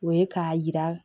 O ye k'a yira